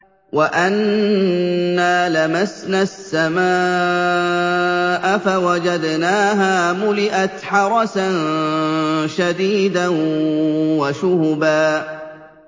وَأَنَّا لَمَسْنَا السَّمَاءَ فَوَجَدْنَاهَا مُلِئَتْ حَرَسًا شَدِيدًا وَشُهُبًا